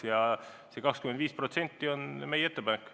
Ja see 25% on meie ettepanek.